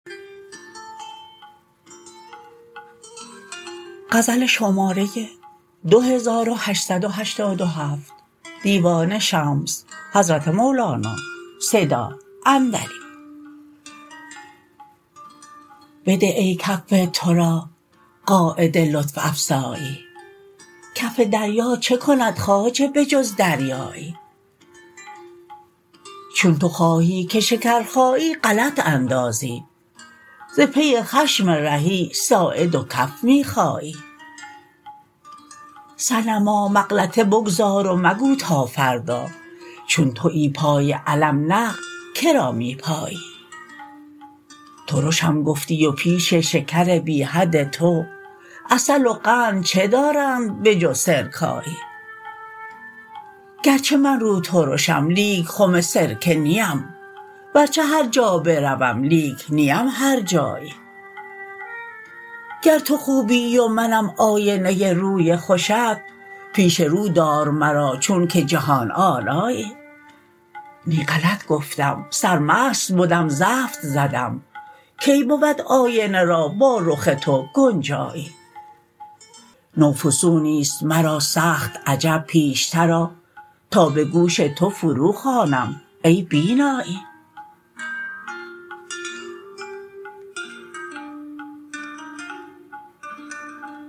بده ای کف تو را قاعده لطف افزایی کف دریا چه کند خواجه به جز دریایی چون تو خواهی که شکرخایی غلط اندازی ز پی خشم رهی ساعد و کف می خایی صنما مغلطه بگذار و مگو تا فردا چون توی پای علم نقد که را می پایی ترشم گفتی و پیش شکر بی حد تو عسل و قند چه دارند به جز سرکایی گرچه من روترشم لیک خم سرکه نیم ورچه هر جا بروم لیک نیم هرجایی گر تو خوبی و منم آینه روی خوشت پیش رو دار مرا چونک جهان آرایی نی غلط گفتم سرمست بدم زفت زدم کی بود آینه را با رخ تو گنجایی نو فسونی است مرا سخت عجب پیشتر آ تا به گوش تو فروخوانم ای بینایی